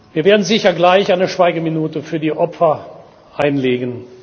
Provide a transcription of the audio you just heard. Wir werden sicher gleich eine Schweigeminute für die Opfer einlegen.